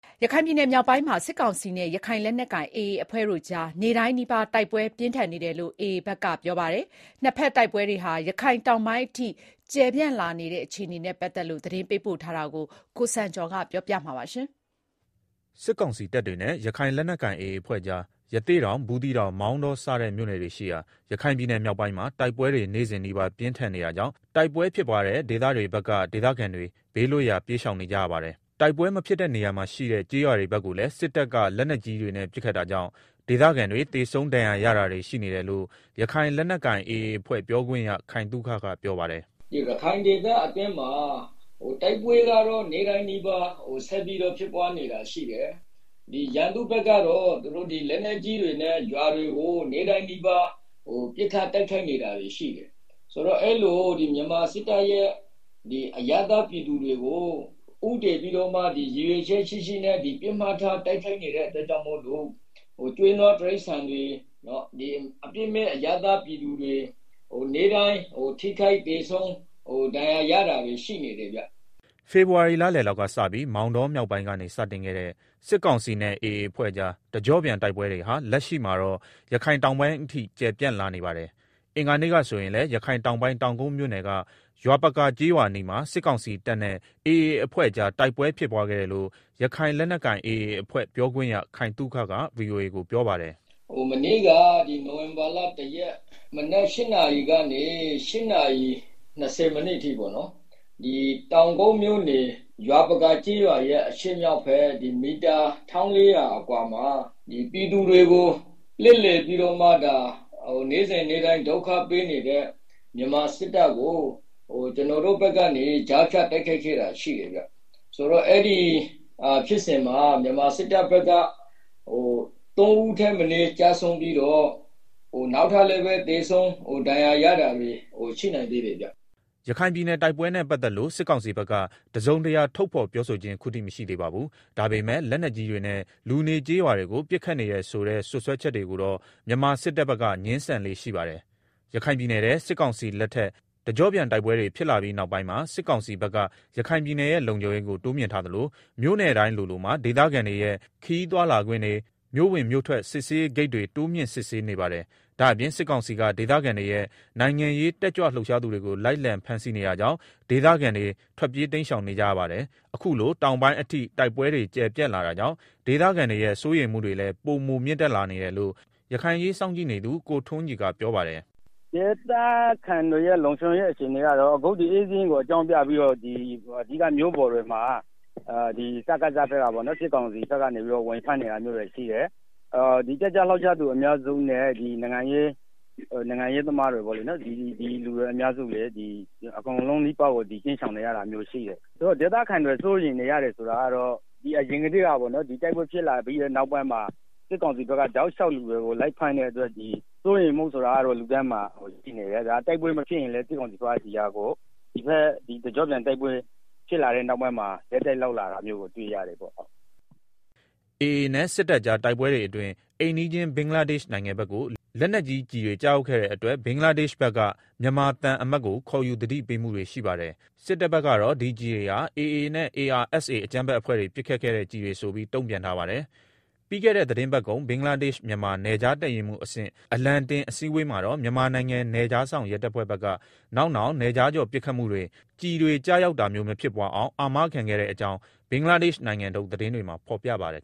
ရခိုင်ပြည်နယ်မြောက်ပိုင်းမှာ စစ်ကောင်စီနဲ့ရခိုင်လက်နက်ကိုင် AA အဖွဲ့တို့ကြား နေ့တိုင်းနီးပါးတိုက်ပွဲပြင်းထန်နေတယ်လို့ AA ဘက်က ပြောပါတယ်။ နှစ်ဘက်တိုက်ပွဲတွေဟာ ရခိုင်တောင်ပိုင်းအထိ ကျယ်ပြန့်လာနေတာကြောင့် ဒေသခံတွေရဲ့ စိုးရိမ်မှုတွေ ပိုမြင့်တက်လာနေတယ်လို့ ရခိုင်အရေးလေ့လာနေသူတွေကပြောပါတယ်။ ရခိုင်ပြည်နယ်ရဲ့ နောက်ဆုံးရ တိုက်ပွဲတွေအကြောင်း သတင်းပေးပို့ချက်ကို ကိုစံကျော်က တင်ပြပေးထားပါတယ်။ စစ်ကောင်စီတပ်တွေနဲ့ ရခိုင်လက်နက်ကိုင် AA အဖွဲ့ကြား ရသေ့တောင်၊ ဘူးသီးတောင်၊ မောင်တောစတဲ့မြို့နယ်တွေရှိရာ ရခိုင်ပြည်နယ် မြောက်ပိုင်းမှာ တိုက်ပွဲတွေ နေ့စဉ်နီးပါး ပြင်းထန်နေတာကြောင့် ဒေသခံတွေဟာ ဘေးလွတ်ရာ ပြေးရှောင်နေကြရပါတယ်။ တိုက်ပွဲ မဖြစ်တဲ့နေရာမှာရှိတဲ့ ကျေးရွာတွေဘက်ကိုလည်း စစ်တပ်က လက်နက်ကြီးတွေနဲ့ ပစ်ခတ်တာကြောင့် ဒေသခံတွေ သေဆုံးဒဏ်ရာရတာတွေ ရှိနေတယ်လို့ ရခိုင်လက်နက်ကိုင် AA အဖွဲ့ပြောခွင့်ရ ခိုင်သုခကပြောပါတယ်။ “ရခိုင်ဒေသမှာ တိုက်ပွဲကတော့ နေ့တိုင်းနီးပါး ဆက်ဖြစ်နေတာရှိတယ်။ ရန်သူဘက်ကတော့ လက်နက်ကြီးတွေနဲ့ ရွာတွေကို နေ့တိုင်းနီးပါးပစ်ခတ်တိုက်ခိုက်နေတာတွေရှိတယ်။ အဲလို မြန်မာစစ်တပ်ရဲ့ အရပ်သားပြည်သူတွေကို ဦးတည်ပြီးတော့ ရည်ရွယ်ချက်ရှိရှိ တိုက်ခိုက်နေ တာမို့လို့ ကျွဲနွားတိရစ္ဆာန်တွေ၊ အပြစ်မဲ့ပြည်သူတွေ ထိခိုက်သေဆုံး ဒဏ်ရာရတာတွေရှိတယ်။” ဖေဖော်ဝါရီလလောက်ကစပြီး မောင်တောမြောက်ပိုင်းကနေ စတင်ခဲ့တဲ့ စစ်ကောင်စီနဲ့ AA အဖွဲ့ကြား တကျော့ပြန်တိုက်ပွဲတွေဟာ လက်ရှိမှာတော့ ရခိုင်တောင်ပိုင်းအထိ ကျယ့်ပြန် လာနေပါတယ်။ အင်္ဂါနေ့ကဆိုရင်လည်း ရခိုင်တောင်ပိုင်း တောင်ကုတ်မြို့နယ်က ရွာပကာ ကျေးရွာအနီးမှာ စစ်ကောင်စီတပ်နဲ့ AA အဖွဲ့ကြား တိုက်ပွဲဖြစ်ပွားခဲ့တယ်လို့ ရခိုင်လက်နက် ကိုင် AA အဖွဲ့ပြောခွင့်ရ ခိုင်သုခကက ဗွီအိုအေကို ပြောပါတယ်။ “ မနေ့က နိုဝင်ဘာလ ၁ ရက်၊ မနက် ၈ နာရီကနေ ၈ နာရီ ၂၀ အထိ တောင်ကုတ်မြို့နယ် ရွာပကာ ကျေးရွာရဲ့ အရှေ့မြောက်ဘက် မီတာ ၁,၄၀၀ အကွာမှာ ပြည်သူတွေကို လှည့်လည်ပြီးတော့ နေ့စဉ်နေ့တိုင်း ဒုက္ခပေးနေတဲ့ မြန်မာစစ်တပ်ကို ကျနော်တို့ဘက်ကနေ ကြားဖြတ် တိုက်ခိုက်ခဲ့တာရှိတယ်ဗျာ၊ အဲဒီမှာ မြန်မာစစ်တပ်ဘက်က သုံးဦးထက်မနည်း ကျဆုံးပြီးတော့ နောက်ထပ်လည်း သေဆုံးဒဏ်ရာရတာတွေရှိနိုင်သေးတယ်ဗျာ။” ရခိုင်ပြည်နယ်တိုက်ပွဲနဲ့ပတ်သက်လို့ စစ်ကောင်စီဘက်က တစုံတရာ ထုတ်ဖော်ပြောခြင်း ခုထိမရှိသေးပါဘူး။ ဒါပေမယ့် လက်နက်ကြီးတွေနဲ့ လူနေကျေးရွာတွေကို ပစ်ခတ်နေတယ်ဆိုတဲ့ စွပ်စွဲချက်တွေကိုတော့ မြန်မာစစ်တပ်ဘက်က ငြင်းဆန်လေ့ရှိပါတယ်။ ရခိုင်ပြည်နယ်ထဲ စစ်ကောင်စီလက်ထက် တကျော့ပြန်တိုက်ပွဲတွေ ဖြစ်လာပြီးနောက်ပိုင်းမှာ စစ်ကောင်စီဘက်က ရခိုင်ပြည်နယ်ရဲ့လုံခြုံရေးကို တိုးမြှင့်ထားသလို မြို့နယ်တိုင်းလိုလိုမှာ ဒေသခံတွေရဲ့ ခရီးသွားလာခွင့်တွေနဲ့ မြို့ဝင်မြို့ထွက် စစ်ဆေးရေးဂိတ်တွေ တိုးမြှင့်စစ်ဆေးနေပါတယ်။ ဒါ့အပြင် စစ်ကောင်စီက ဒေသခံတွေနဲ့ နိုင်ငံရေး တက်ကြွလှုပ်ရှားသူတွေကို လိုက်လံဖမ်းဆီးနေတာကြောင့် ဒေသခံတွေ ထွက်ပြေးတိမ်းရှောင်နေကြရပါတယ်။ အခုလို တောင်းပိုင်းအထိ တိုက်ပွဲတွေ ကျယ်ပြန့်လာတာကြောင့် ဒေသခံတွေရဲ့ စိုးရိမ်မှုတွေဟာလည်း ပိုမြင့်တက်လာနေတယ်လို့ ရခိုင်အရေးစောင့်ကြည့်နေသူ ကိုထွန်းကြည်ကပြောပါတယ်။ “ အခု ဧည့်စာရင်းကို အကြောင်းပြပြီးတော့ မြို့ပေါ်တွေမှာ စကစ ဘက်က ဝင်ဖမ်းနေတာတွေရှိတယ်။ တက်ကြွလှုပ်ရှားသူအများစု နိုင်ငံရေးသမားတွေလည်း အကုန်လုံးနီးပါးတိမ်း ရှောင်နေရတာရှိတယ်။ ဒေသခံတွေ စိုးရိမ်နေရတယ်ဆိုတာကတော့ အရင်ကတည်းက တိုက်ပွဲဖြစ်လာပြီး နောက်ပိုင်းမှာ တောက်လျှောက် လူတွေကို လိုက်ဖမ်းနေတဲ့အတွက် စိုးရိမ်မှုက လူတိုင်း မှာရှိနေတယ်။ စစ်ကောင်စီဘက်ကလည်း ဒီတကျော့ပြန်တိုက်ပွဲဖြစ်လာပြီးနောက်ပိုင်းမှာ ပိုပြီးတော့ လုပ်လာတယ်။” AA နဲ့ စစ်တပ်ကြားတိုက်ပွဲတွေအတွင်း အိမ်နီးချင်း ဘင်္ဂလားဒေ့ရှ်နိုင်ငံဘက်ကို လက်နက်ကြီးကျည်တွေကျရောက်ခဲ့တဲ့အတွက် ဘင်္ဂလားဒေရှ့်ဘက်က မြန်မာသံအမတ်ကိုခေါ်ယူ သတိပေးမှုတွေ ရှိပါတယ်။ စစ်တပ်ဘက်ကတော့ ဒီကျည်တွေဟာ AA နဲ့ ARSA အကြမ်းဖက် အဖွဲ့တွေ ပစ်ခတ်ခဲ့တဲ့ကျည်တွေဆိုပြီး တုံ့ပြန်ထားပါတယ်။ ပြီးခဲ့တဲ့ သီတင်းပတ်ကုန် ဘင်္ဂလားဒေ့ရှ် မြန်မာနယ်ခြား တပ်ရင်းမှူးအဆင့် အလံတင် အစည်းအဝေးမှာတော့ မြန်မာနိုင်ငံ နယ်ခြားစောင့်ရဲတပ်ဖွဲ့ဘက်က နောက်နောင် နယ်ခြားကျော်ပစ်ခတ်မှုတွေ၊ ကျည်တွေ ကျရောက်တာမျိုး မဖြစ်ပွားအောင် အာမခံခဲ့တဲ့အကြောင်း ဘင်္ဂလားဒေ့ရှ်နိုင်ငံထုတ် သတင်းတွေမှာ ဖော်ပြပါတယ်